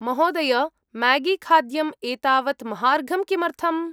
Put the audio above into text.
महोदय, म्यागीखाद्यम् एतावत् महार्घं किमर्थम्?